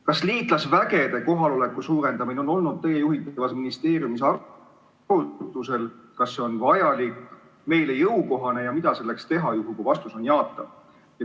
Kas liitlasvägede kohaloleku suurendamine on olnud teie juhitavas ministeeriumis arutusel, kas see on vajalik, meile jõukohane ja mida selleks teha, juhul kui vastus on jaatav?